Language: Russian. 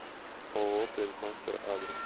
ооо принтмастер адрес